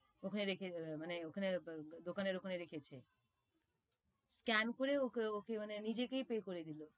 ওখানে রেখে মানে ওখানে দোকানের ওখানে রেখেছে, scan করে ও ওকে মানে নিজেকেই pay করে দিলো,